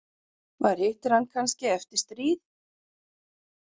Maður hittir hann kannski eftir stríð.